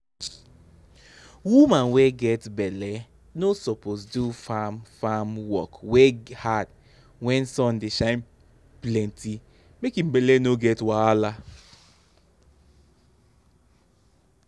woman wey get belle no suppose do farm farm work wey hard wen sun dey shine plenty make im belle no get wahala.